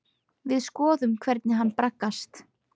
Við skoðum hvernig hann braggast.